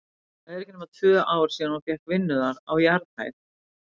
Það eru ekki nema tvö ár síðan hún fékk vinnu þar, á jarðhæð.